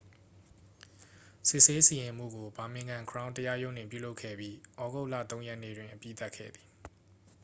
စစ်ဆေးစီရင်မှုကို ဘာမင်ဂမ် ခရောင်း တရားရုံးတွင် ပြုလုပ်ခဲ့ပြီး သြဂုတ်လ 3 ရက်နေ့တွင် အပြီးသတ်ခဲ့သည်